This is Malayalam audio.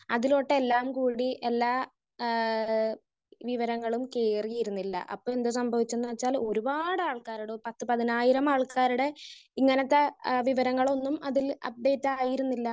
സ്പീക്കർ 1 അതിലോട്ടു എല്ലാം കൂടി എല്ലാ ആഹ് ആഹ് വിവരങ്ങളും കേറിയിരുന്നില്ല. അപ്പോ എന്താ സംഭവിച്ചെന്ന് വെച്ചാൽ ഒരുപാട് ആൾക്കാരുടെ പത്ത് പതിനായിരം ആൾക്കാരുടെ ഇങ്ങനത്തെ ആഹ് വിവരങ്ങളൊന്നും അതിൽ അപ്ഡേറ്റ് ആയിരുന്നില്ല.